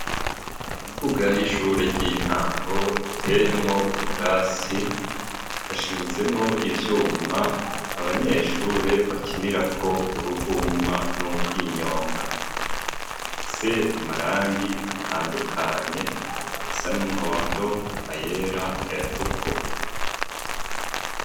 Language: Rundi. Mu mbuga y'ishure ry'intango iteyemwo ubwatsi hashinzemwo ivyuma abanyeshure bakinirako uruvuma n'ukwinyonga ifise amarangi atandukanye irisa n'umuhondo, ayera, ayatukura.